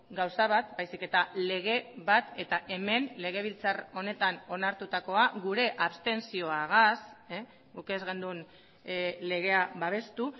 gauza bat baizik eta lege bat eta hemen legebiltzar honetan onartutakoa gure abstentzioagaz guk ez genuen legea babestu